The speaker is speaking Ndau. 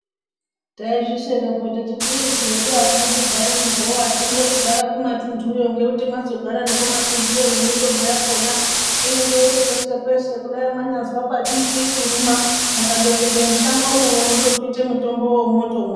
Taizvishekapo techiti isu hedu atidi kugare mugowa tinode mugare kumatuntuyo ngekuti mwazogare kumatuntuyo nemitombo yakona inenge iri peshe-peshe kudai mwanyaza pati ndwii mukando pinda mushangomwo unotobvite mutombowo wotomwa.